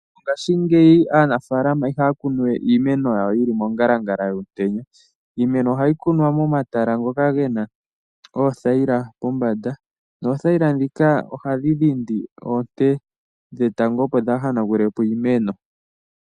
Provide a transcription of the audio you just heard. Ngashingeyi aanafaalama ihaya kunu we iimeno yawo yili mo ngalangala yomutenya. Iimeno ohayi kunwa mo matala ngoka gena oothayila kombanda. Dho oothayila dhika ohadhi dhindi oonte dhetango opo dhaahanagule po iimeno.